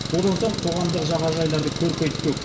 одан соң қоғамдық жағажайларды көркейтпек